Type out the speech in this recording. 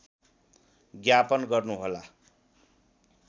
ज्ञापन गर्नुहोला